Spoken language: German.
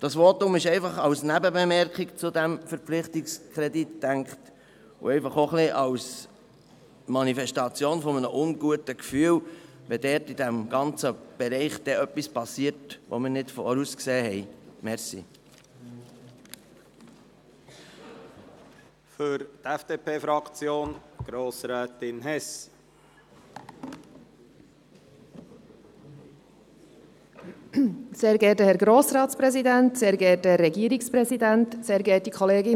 Dieses Votum ist als Nebenbemerkung zu diesem Verpflichtungskredit gedacht und auch als Manifestation eines unguten Gefühls, weil in diesem ganzen Bereich etwas geschehen könnte, das wir nicht vorausgesehen haben.